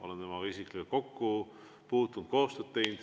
Olen temaga isiklikult kokku puutunud, koostööd teinud.